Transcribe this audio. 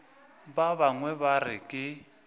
ba bangwe ba re ke